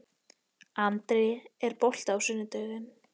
André, er bolti á sunnudaginn?